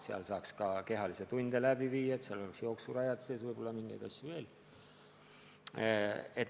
Seal võiks saada ka kehalise kasvatuse tunde läbi viia, seal võiks olla jooksurajad, võib-olla mingeid asju veel.